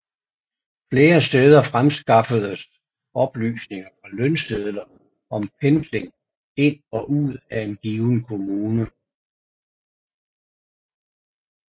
Flere steder fremskaffedes oplysninger fra lønsedler om pendling ind og ud af en given kommune